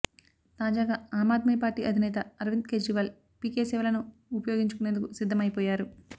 తాజగా ఆమ్ ఆద్మి పార్టీ అదినేత అరవింద్ కేజ్రీవాల్ పీకే సేవలను ఉపయోగించుకునేందుకు సిద్ధం అయిపోయారు